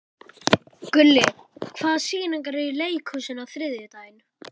Gulli, hvaða sýningar eru í leikhúsinu á þriðjudaginn?